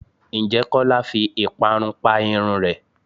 Ǹjẹ́ Kọ́lá fi ìparun pa irun rẹ?